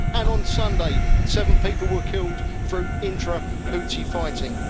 On Sunday, seven people were killed through intra Houthi fighting.